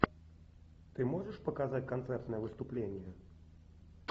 ты можешь показать концертное выступление